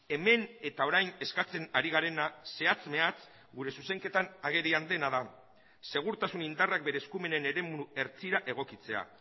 hemen eta orain eskatzen ari garena zehatz mehatz gure zuzenketan agerian dena da segurtasun indarrak bere eskumenen eremu hertsira egokitzea